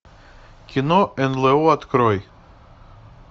кино нло открой